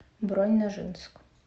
бронь ножинск